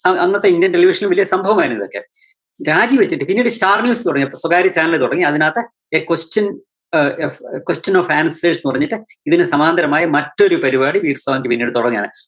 അന്ന~അന്നത്തെ indian television ല് വല്യ സംഭവമായിരുന്നിതൊക്കെ. രാജിവെച്ചിട്ട് പിന്നീട് തുടങ്ങി. സ്വകാര്യ channel തുടങ്ങി. അതിനകത്ത് a question ആഹ് എഫ് ഫ് question of answers എന്ന് പറഞ്ഞിട്ട് ഇതിന് സമാന്തരമായ മറ്റൊരു പരിപാടി പിന്നീട് തൊടങ്ങാണ്.